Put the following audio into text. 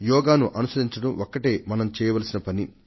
యోగాను అనుసరించడం ఒక్కటే మనం చేయవలసిన పని